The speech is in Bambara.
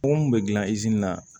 Kɔngɔ kun bɛ gilan i na